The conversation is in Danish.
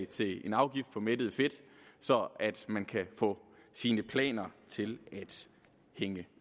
til en afgift på mættet fedt så man kan få sine planer til at hænge